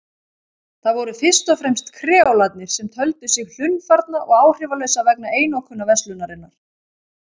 Það voru fyrst og fremst kreólarnir sem töldu sig hlunnfarna og áhrifalausa vegna einokunarverslunarinnar.